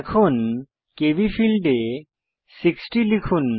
এখন কেবি ফীল্ডে 60 লিখুন